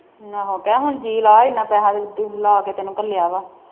ਆਹੋ ਕਹਿ ਹੁਣ ਜੀ ਲਾ ਇਨਾ ਪੈਹਾ ਤੂੰ ਲੈ ਕੇ ਤੈਨੂੰ ਘੱਲਿਆ ਵਾ